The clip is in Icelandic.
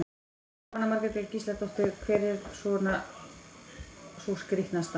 Jóhanna Margrét Gísladóttir: Hver er svona sú skrítnasta?